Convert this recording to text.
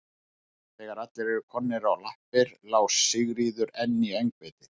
Þegar allir voru komnir á lappir lá Sigríður enn í öngviti.